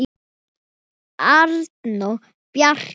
Arnór Bjarki.